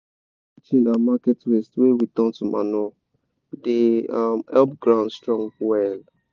all those kitchen and market waste wey we turn to manure dey um help ground strong well